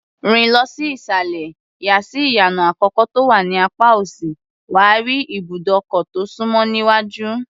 Rìn lọ sí ìsàlẹ̀, yà sí ìyànà àkọ́kọ́ tó wà ní apá òsì, wà á rí ibùdókọ̀ tó súnmọ́ níwájú.